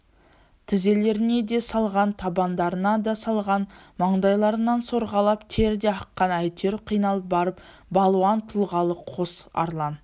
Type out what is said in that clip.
тізелеріне де салған табандарына да салған маңдайларынан сорғалап тер де аққан әйтеуір қиналып барып балуан тұлғалы қос арлан